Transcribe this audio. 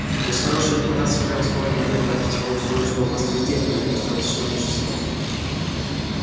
без хорошей репутации превосходно можно обойтись при условии что у вас есть деньги и достаточно мужества